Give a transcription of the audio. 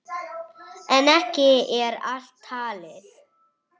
En ekki er allt talið.